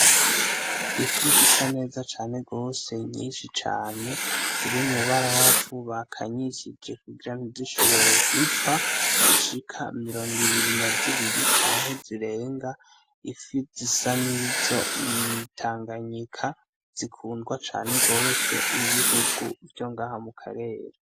Ifi zisa neza cane rwose nyinshi cane zirimu barafu bakanyishije kugira ni zishoboye gupfa zishika mirongo ibiri na zibiri canke zirenga ifi zisa n'izo mwitanganyika zikundwa cane rwose n'ibihugu vyo aha mu karera.